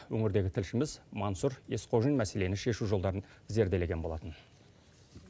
өңірдегі тілшіміз мансұр есқожин мәселені шешу жолдарын зерделеген болатын